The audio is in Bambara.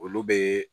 Olu bɛ